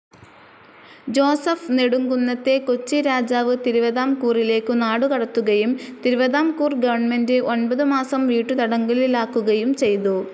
Joseph നെടുംകുന്നത്തെ കൊച്ചി രാജാവ് തിരുവിതാംകൂറിലേക്കു നാടുകടത്തുകയും തിരുവിതാംകൂർ ഗവർണ്മെന്റ്‌ ഒൻപതു മാസം വീട്ടുതടങ്കലിലാക്കുകയും ചെയ്തു.